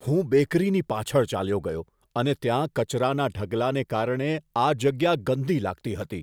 હું બેકરીની પાછળ ચાલ્યો ગયો અને ત્યાં કચરાના ઢગલાને કારણે આ જગ્યા ગંદી લાગતી હતી.